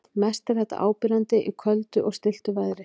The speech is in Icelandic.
Mest er þetta áberandi í köldu og stilltu veðri.